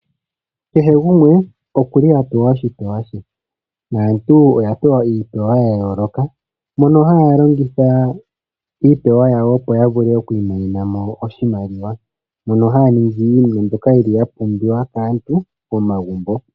Kehe gumwe oku li a pewa oshipewa she. Aantu oya pewa iipewa ya yooloka, mono haya longitha iipewa yawo opo ya vule oku imonena oshimaliwa. Ohaya ningi iinima mbyoka yi li ya pumbiwa kaantu momagumbo.